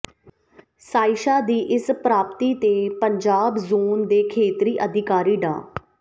ਸਾਇਸ਼ਾ ਦੀ ਇਸ ਪ੍ਰਾਪਤੀ ਤੇ ਪਜਾਬ ਜ਼ੋਨ ਏ ਦੇ ਖੇਤਰੀ ਅਧਿਕਾਰੀ ਡਾ